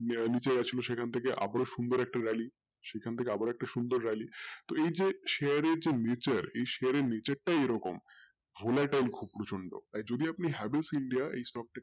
বেআইনি যে ছিল সেখান থেকে আবারো সুন্দর একটা rally সেখান থেকে আবারো সুন্দর একটা rally তো এই যে share এর যে nature এই share এর nature টা এরকম খুব সুন্দর আর যদি আপনি Havells india stock হয়েযান